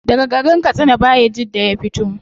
Daga garin katsina bayajidda ya fito